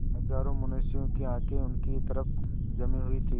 हजारों मनुष्यों की आँखें उनकी तरफ जमी हुई थीं